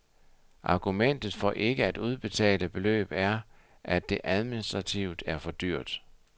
Argumentet for ikke at udbetale beløb er, at det administrativt er for dyrt.